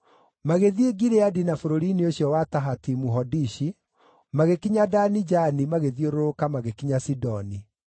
Magĩthiĩ Gileadi na bũrũri-inĩ ũcio wa Tahatimu-Hodishi, magĩkinya Dani-Jaani magĩthiũrũrũka magĩkinya Sidoni.